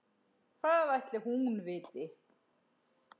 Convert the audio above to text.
Hvað ætli hún viti?